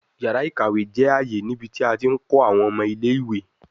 Yara ikawe jẹ aaye nibiti a ti nkọ awọn ọmọ ile-iwe